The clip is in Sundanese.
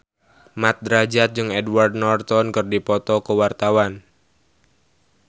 Mat Drajat jeung Edward Norton keur dipoto ku wartawan